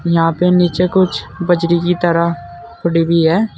यहां पे नीचे कुछ बजरी की तरह पड़ी हुई है।